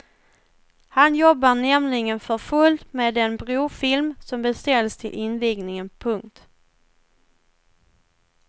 Han jobbar nämligen för fullt med den brofilm som beställts till invigningen. punkt